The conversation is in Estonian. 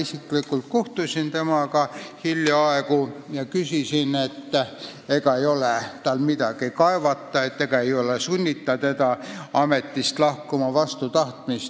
Ma kohtusin härra Koolmeistriga hiljaaegu isiklikult ja küsisin, ega tal ei ole midagi kaevata, ega teda ei sunnita vastu tahtmist ametist lahkuma.